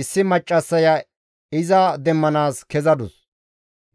issi maccassaya iza demmanaas kezadus;